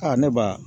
Aa ne ba